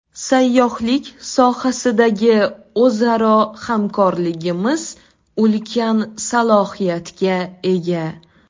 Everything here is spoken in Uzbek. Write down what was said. Sayyohlik sohasidagi o‘zaro hamkorligimiz ulkan salohiyatga ega.